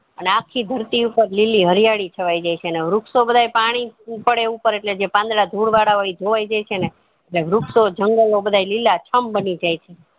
અને આખી ધરતી ઉપર લીલી હરિયાળી છવાય જાય છે અને વૃક્ષો બધાય પાણી પડે ઉપર એટલે જે પાંદડા જે ધૂળ વાળા હોય ઈ ધોવાય જાય છે ને જે વૃક્ષોજંગલ ઓ બધા લીલા છમ બની જાય છે